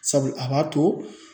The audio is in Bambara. Sabu a b'a to.